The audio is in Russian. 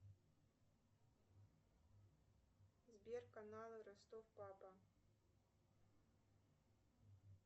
сбер каналы ростов папа